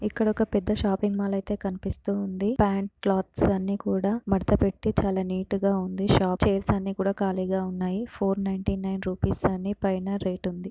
ఇక్కడ ఒక పెద్ద షాపింగ్ మాల్ కనిపిస్తూ ఉంది. ప్యాంట్ క్లాత్స్ అన్నీ కూడా మడత పెట్టి చాలా నీట్ గా ఉంది. షాప్ చైర్స్ అన్ని ఖాళీగా ఉన్నాయి. ఫోర్ నైంటీ నైన్ రూపీస్ అని పైన రేట్ ఉంది.